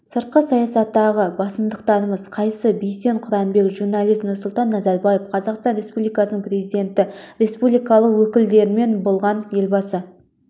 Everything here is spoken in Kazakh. сыртқы саясаттағы басымдықтарымыз қайсы бейсен құранбек журналист нұрсұлтан назарбаев қазақстан республикасының президенті республикалық өкілдерімен болған елбасы